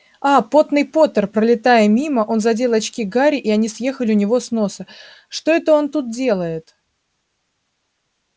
а потный поттер пролетая мимо он задел очки гарри и они съехали у него с носа что это он тут делает